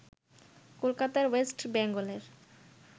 কলকাতার ওয়েস্ট বেঙ্গলের